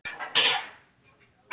Þorbjörn Þórðarson: Klára málið?